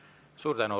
Suur tänu!